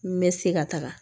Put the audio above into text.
N bɛ se ka taga